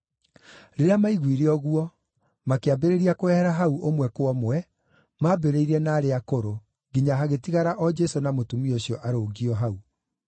Rĩrĩa maiguire ũguo, makĩambĩrĩria kwehera hau ũmwe kwa ũmwe, maambĩrĩirie na arĩa akũrũ, nginya hagĩtigara o Jesũ na mũtumia ũcio arũngiĩ o hau.